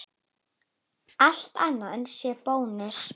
Allt annað sé bónus?